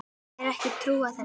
Er ekki að trúa þessu.